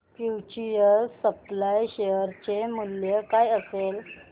future supply share चे मूल्य काय असेल